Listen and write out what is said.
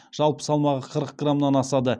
жалпы салмағы қырық граммнан асады